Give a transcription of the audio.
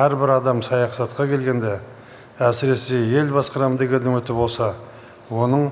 әрбір адам саясатқа келгенде әсіресе ел басқарамын деген үміті болса оның